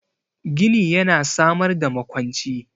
Gini yana samar da makwanci